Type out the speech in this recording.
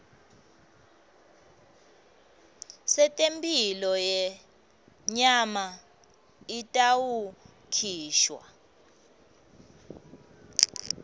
setemphilo yenyama itawukhishwa